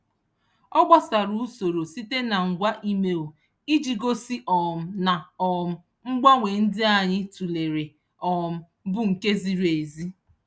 Ọ gbasoro usoro site na ngwa email iji gosi um na um mgbanwe ndị anyị tụlere um bụ nke ziri ezi.